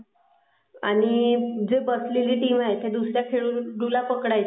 आणि जी बसलेली टीम आहे त्या दुसर् या खेळाडुला पकडायची असते.